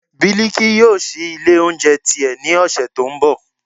biliki yóò síí ilé oúnjẹ ti e, ní ọṣẹ to n bò